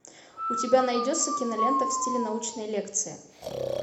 у тебя найдется кинолента в стиле научной лекции